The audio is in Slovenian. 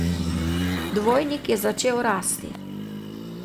Dvojnik je začel rasti.